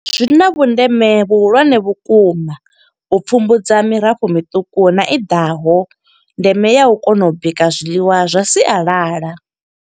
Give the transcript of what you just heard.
Zwina vhundeme vhuhulwane vhukuma, u pfumbudza mirafho miṱuku na i ḓaho, ndeme ya u kona u bika zwiḽiwa zwa sialala.